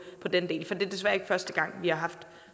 den del for det er desværre ikke første gang vi har haft